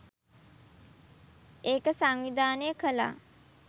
ඒක සංවිධානය කළා.